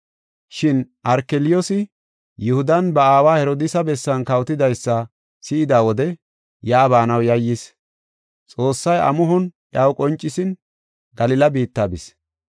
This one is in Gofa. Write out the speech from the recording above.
Shin Arkeliyoosi Yihudan ba aawa Herodiisa bessan kawotidaysa si7ida wode yaa baanaw yayyis. Xoossay amuhon iyaw qoncisin Galila biitta bis.